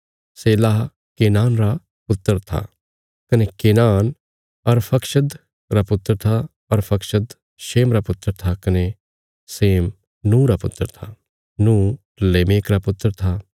Shelah Kenan रा पुत्र था कने केनान अरफक्षद रा पुत्र था अरफक्षद शेम रा पुत्र था कने शेम नूँह रा पुत्र था नूँह लेमेक रा पुत्र था